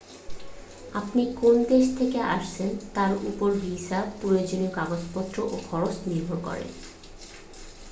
আপনি কোন দেশ থেকে আসছেন তার উপর ভিসার প্রয়োজনীয় কাগজপত্র ও খরচ নির্ভর করে